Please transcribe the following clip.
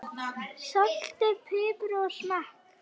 Saltið og piprið að smekk.